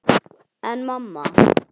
En mamma!